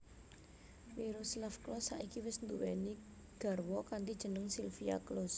Miroslav Klose saiki wis nduwèni garwa kanthi jeneng Silvia Klose